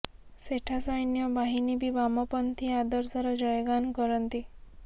ସେଠା ସୈନ୍ୟ ବାହିନୀ ବି ବାମପନ୍ଥୀ ଆଦର୍ଶର ଜୟଗାନ କରନ୍ତି